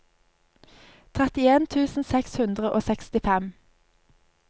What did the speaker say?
trettien tusen seks hundre og sekstifem